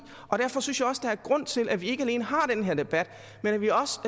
derfor synes jeg også der er grund til at vi ikke alene har den her debat men at vi også